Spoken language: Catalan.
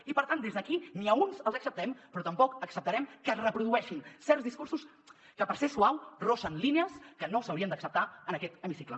i per tant des d’aquí ni a uns els acceptem però tampoc acceptarem que es reprodueixin certs discursos que per ser suau freguen línies que no s’haurien d’acceptar en aquest hemicicle